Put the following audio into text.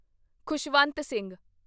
Khushwant Singh